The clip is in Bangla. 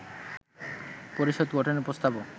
পরিষদ গঠনের প্রস্তাবও